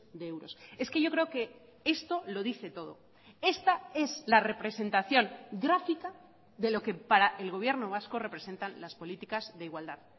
de euros es que yo creo que esto lo dice todo esta es la representación gráfica de lo que para el gobierno vasco representan las políticas de igualdad